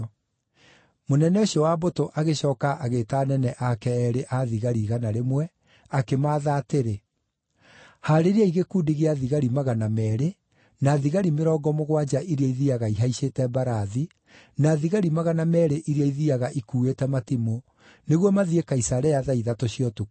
Mũnene ũcio wa mbũtũ agĩcooka agĩĩta anene aake eerĩ a thigari igana rĩmwe akĩmaatha atĩrĩ, “Haarĩriai gĩkundi gĩa thigari magana meerĩ, na thigari mĩrongo mũgwanja iria ithiiaga ihaicĩte mbarathi, na thigari magana meerĩ iria ithiiaga ikuuĩte matimũ, nĩguo mathiĩ Kaisarea thaa ithatũ cia ũtukũ.